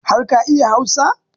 Har ka iya Hausa?